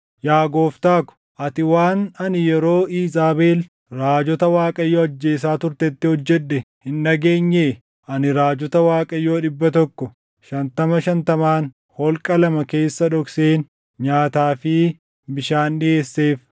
Yaa gooftaa ko, ati waan ani yeroo Iizaabel raajota Waaqayyoo ajjeesaa turtetti hojjedhe hin dhageenyee? Ani raajota Waaqayyoo dhibba tokko shantama shantamaan holqa lama keessa dhokseen nyaataa fi bishaan dhiʼeesseef.